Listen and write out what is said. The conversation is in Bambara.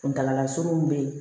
Kuntaala surunin bɛ yen